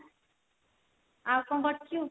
ଆଉ କଣ କରୁଛୁ?